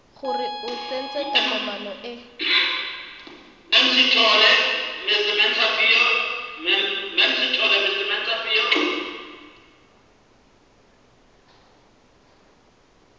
gore o tsentse tokomane e